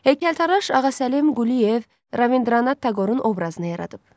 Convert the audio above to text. Heykəltaraş Ağasəlim Quliyev Rabindranat Taqorun obrazını yaradıb.